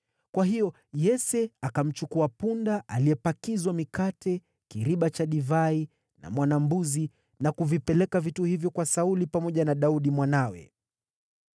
Kwa hiyo Yese akamchukua punda aliyepakizwa mikate, kiriba cha divai na mwana-mbuzi, na kuvipeleka vitu hivyo kwa Sauli pamoja na Daudi mwanawe.